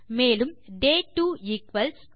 மேலும் D 2 equals